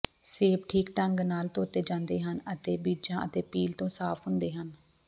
ਸੇਬ ਠੀਕ ਢੰਗ ਨਾਲ ਧੋਤੇ ਜਾਂਦੇ ਹਨ ਅਤੇ ਬੀਜਾਂ ਅਤੇ ਪੀਲ ਤੋਂ ਸਾਫ ਹੁੰਦੇ ਹਨ